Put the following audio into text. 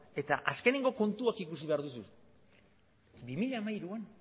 eta azkeneko kontuak ikusi behar dituzu bi mila hamairuan